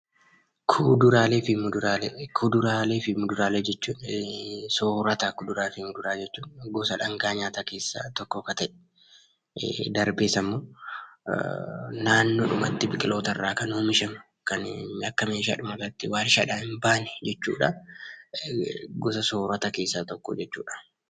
Kuduraalee fi muduraalee jechuun soorata kuduraalee fi muduraalee jechuun. Gosa dhangaa nyaataa keessaa tokko kan ta'e, darbees ammoo naannoodhumatti biqiloota irraa kan oomishamu kan bakka meeshaadhumatti, waarshaadhaan bahan jechuudha. Gosa soorata keessaa tokko jechuudha.